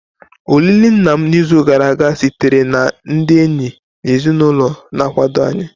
Olili nna m n'izu gara aga sitere na ndị enyi na ezinụlọ na-akwado anyị.